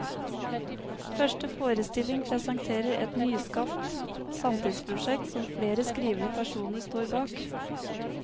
Første forestilling presenterer et nyskapt samtidsprosjekt, som flere skrivende personer står bak.